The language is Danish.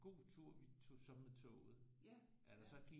God tur vi tog så med toget at der så gik